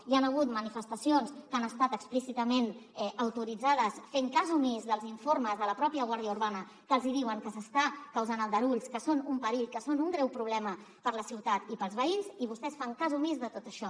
hi han hagut manifestacions que han estat explícitament autoritzades fent cas omís dels informes de la pròpia guàrdia urbana que els diuen que s’estan causant aldarulls que són un perill que són un greu problema per a la ciutat i per als veïns i vostès fan cas omís de tot això